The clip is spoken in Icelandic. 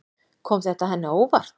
Kom þetta henni á óvart?